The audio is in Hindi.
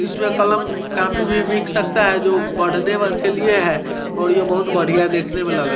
इसमे कलम कॉपी भी बिक सकता हैं जो पढ़ने के लिए हैं और यह बहुत बढ़िया देखने मे लग--